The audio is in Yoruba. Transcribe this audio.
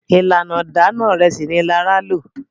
ìlànà Idana Ìrẹsí ní Lara ló.